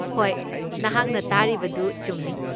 ꯍꯣꯏ, ꯅꯍꯥꯛꯅ ꯇꯥꯔꯤꯕꯗꯨ ꯆꯨꯝꯃꯤ꯫